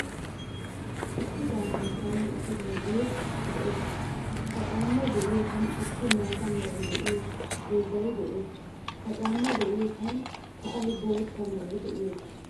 Issi caamay karen wottidoge de'ees. Ha caamay de'iyosan issi maataa meray de'iyo dozay de'ees. Ha caamay de'iyosan sa'ay bootta meray de'iyoga.